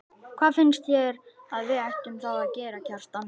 Hvað finnst þér að við ættum þá að gera, Kjartan?